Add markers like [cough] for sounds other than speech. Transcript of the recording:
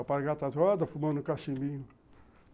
O alpargatas [unintelligible] fumando cachimbinho.